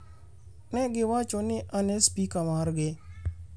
Ne giwacho ni an e Spika margi.